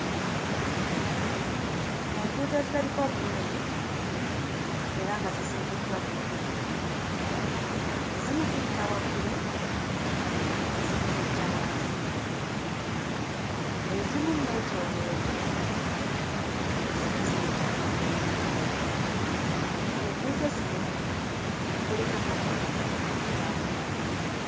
Enguudo ezirabika obulungi era nga zizimbiddwa bulungi. Ezimu ziyita waggulu, ezimu ziyita wansi, ezimu nneetooloovu, ezimu ziweta amakoona. Ku nguudo zino kuliko emmotoka ezitambula.